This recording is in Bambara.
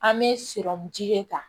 An bɛ sirɔmu ji de ta